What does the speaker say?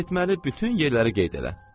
Getməli bütün yerləri qeyd elə.